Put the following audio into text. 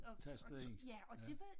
Tastede ind ja